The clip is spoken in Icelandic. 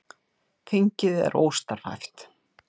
Þingið er óstarfhæft